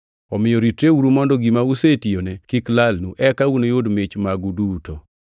Omiyo ritreuru mondo gima usetiyone kik lalnu, eka unuyud mich magu duto.